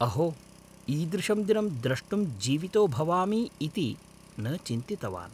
अहो, ईदृशं दिनं द्रष्टुं जीवितो भवामि इति न चिन्तितवान्।